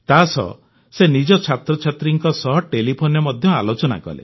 ତାସହ ସେ ନିଜ ଛାତ୍ରଛାତ୍ରୀଙ୍କ ସହ ଟେଲିଫୋନରେ ମଧ୍ୟ ଆଲୋଚନା କଲେ